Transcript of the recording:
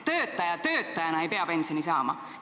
Niisama töötajana ei peagi pensioni saama.